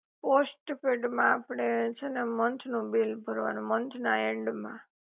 postpaid માં આપડે છે ને મંથ નું બિલ ભરવાનું મંથના એન્ડ માં